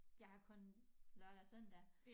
Jeg har kun lørdag søndag